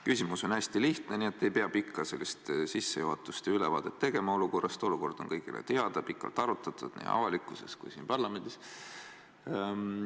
Küsimus on hästi lihtne, nii et ei pea pikka sissejuhatust ja ülevaadet olukorrast tegema, olukord on kõigile teada, pikalt arutatud nii avalikkuses kui ka siin parlamendis.